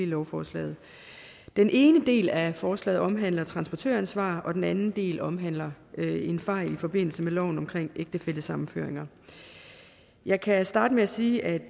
lovforslaget den ene del af forslaget omhandler transportøransvar og den anden del omhandler en fejl i forbindelse med loven om ægtefællesammenføringer jeg kan starte med at sige at